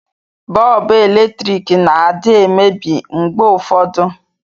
Bọọbụ eletriki na adị emebi mgbe ụfọdụ